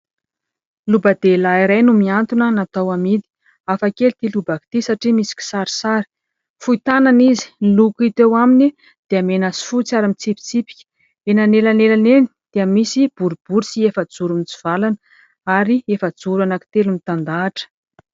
Loba-dehilahy iray no miantona natao amidy. Hafakely ity lobaka ity satria misy kisarisary. Fohy tanana izy. Ny loko hita eo aminy dia mena sy fotsy ary mitsipitsipika. Eny anelanelany eny dia misy boribory sy efajoro mitsivalana, ary efajoro anankitelo mitandahatra.